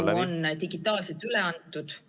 Eelnõu on digitaalselt üle antud.